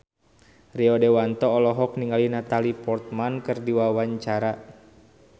Rio Dewanto olohok ningali Natalie Portman keur diwawancara